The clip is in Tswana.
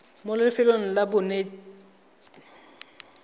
mo lefelong la bonetetshi jwa